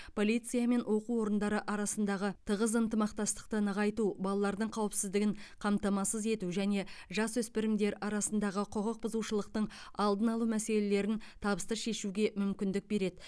полиция мен оқу орындары арасындағы тығыз ынтымақтастықты нығайту балалардың қауіпсіздігін қамтамасыз ету және жасөспірімдер арасындағы құқық бұзушылықтың алдын алу мәселелерін табысты шешуге мүмкіндік береді